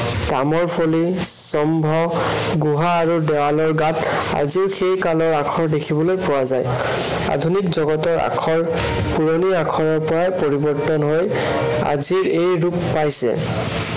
তামৰ ফলি, স্তম্ভ আৰু গুহাৰ আৰু দেৱালৰ গাত আজিও সেই কালৰ আখৰ দেখিবলৈ পোৱা যায়। আধুনিক জগতৰ আখৰ পুৰণি আখৰৰ পৰা পৰিৱৰ্তন হৈ আজিৰ এই ৰূপ পাইছে।